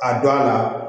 A don a la